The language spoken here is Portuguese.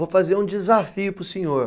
Vou fazer um desafio para o senhor.